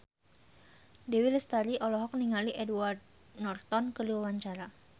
Dewi Lestari olohok ningali Edward Norton keur diwawancara